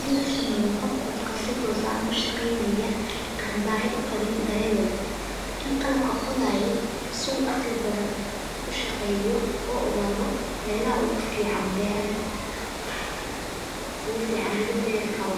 mid lasameyo qod qodka si tos ahan ushageynayo an bahi uqawin darawel qodhayo si aqli badan ushaqeyo u igado melaha ufican lagu beeri karo.